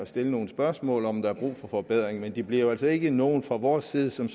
stille nogle spørgsmål om om der er brug for forbedring men det bliver jo altså ikke noget fra vores side som